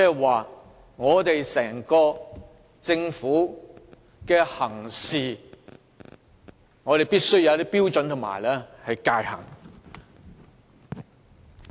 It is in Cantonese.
換句話說，整個政府的行事必須遵照一套標準和界限。